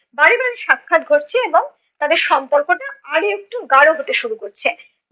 বারে বারে সাক্ষাৎ ঘটছে এবং তাদের সম্পর্কটা আরও একটু গাঢ় হতে শুরু করছে।